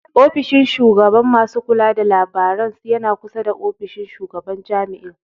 Ofishin shugaban masu kula da labirarin yana kusa da ofishin shugaban jami'ar.